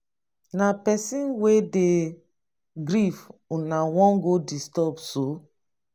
na pesin wey dey grief una wan go disturb so?